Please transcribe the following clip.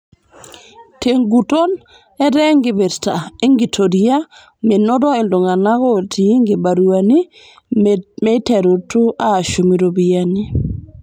Teguton, eeta enkipirita enkitoria menoto iltunganak o tiii nkibaruani meterutu aashum iropiyiani.